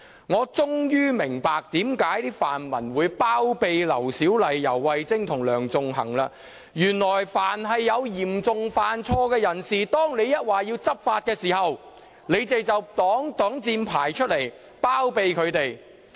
我終於明白為何泛民主派議員會包庇劉小麗議員、游蕙禎和梁頌恆，原來凡遇有嚴重犯錯的人，當我們要求執法時，他們便會拿出擋箭牌，包庇他們。